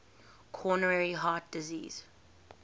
coronary heart disease